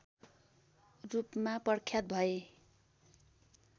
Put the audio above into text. रूपमा प्रख्यात भए